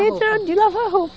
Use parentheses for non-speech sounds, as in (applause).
(unintelligible) de lavar roupa.